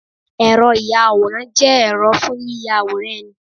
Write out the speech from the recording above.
Ẹ̀rọ ìya àwòrán jẹ́ ẹ̀rọ fún yíya àwòrán ẹni